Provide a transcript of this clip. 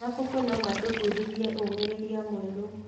Mabuku no matũbundithie ũũmĩrĩria mwerũ.